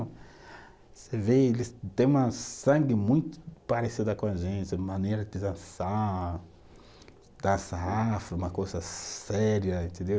Você vê, eles têm uma sangue muito parecida com a gente, uma maneira de dançar, dança afro, uma coisa séria, entendeu?